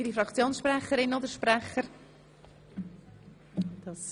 Wird das Wort von weiteren Fraktionssprecherinnen oder -sprechern gewünscht?